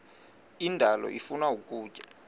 indalo ifuna ukutya